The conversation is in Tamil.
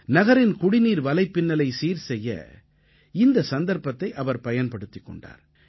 நகரின் குடிநீர் வலைப்பின்னலை சீர்செய்ய இந்த சந்தர்ப்பத்தை அவர் பயன்படுத்திக் கொண்டார்